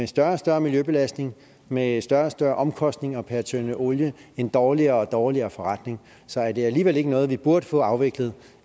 større og større miljøbelastning med større og større omkostninger per tønde olie en dårligere og dårligere forretning så er det alligevel ikke noget vi burde få afviklet